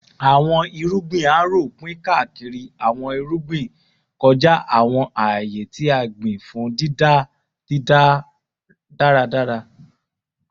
Awọn irugbin Harrow pin kaakiri awọn irugbin kọja awọn aaye ti a gbin fun dida daradara